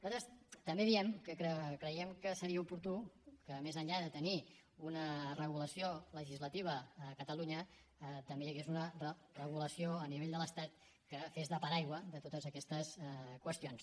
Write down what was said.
nosaltres també diem que creiem que seria oportú que més enllà de tenir una regulació legislativa a catalunya també hi hagués una regulació a nivell de l’estat que fes de paraigua de totes aquestes qüestions